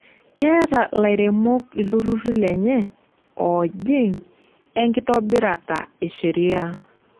Keeta lairemok ilturruri lenye oojing enkitobirata e sheria.